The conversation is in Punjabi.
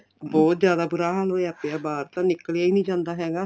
ਬਹੁਤ ਜਿਆਦਾ ਬੁਰਾ ਹਾਲ ਹੋਇਆ ਪਿਆ ਬਾਹਰ ਤਾਂ ਨਿਕਲਿਆ ਈ ਨੀਂ ਜਾਂਦਾ ਹੈਗਾ